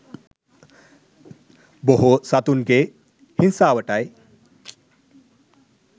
බොහෝ සතුනගේ හිංසාවටයි